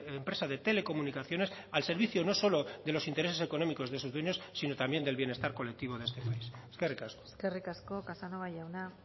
empresa de telecomunicaciones al servicio no solo de los intereses económicos de sus dueños sino también del bienestar colectivo de este país eskerrik asko eskerrik asko casanova jauna